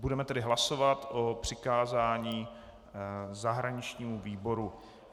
Budeme tedy hlasovat o přikázání zahraničnímu výboru.